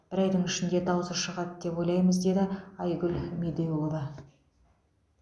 бір айдың ішінде даусы шығады деп ойлаймыз деді айгүл медеулова